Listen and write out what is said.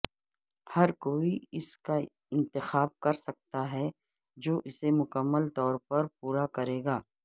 ہر کوئی اس کا انتخاب کرسکتا ہے جو اسے مکمل طور پر پورا کرے گا